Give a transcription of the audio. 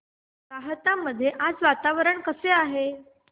राहता मध्ये आज वातावरण कसे आहे